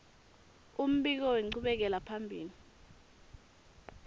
umbiko wenchubekela phambili